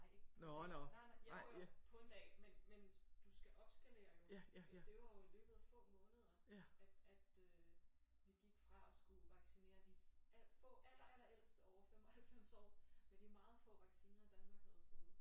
Nej ikke på en dag nej nej jo jo på en dag men men du skal opskalere jo det var jo i løbet af få måneder at at øh vi gik fra fra at skulle vaccinere de få aller aller ældste over 95 år med de meget få vacciner Danmark havde fået